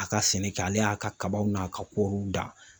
A ka sɛnɛ kɛ ale y'a ka kabaw n'a ka kɔɔriw dan